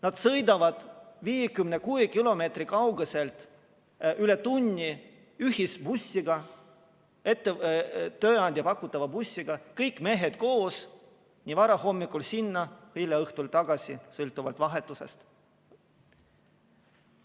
Nad sõidavad 56 kilomeetri kauguselt üle tunni ühisbussiga, tööandja pakutava bussiga, kõik mehed koos, vara hommikul sinna ja hilja õhtul tagasi sõltuvalt vahetusest.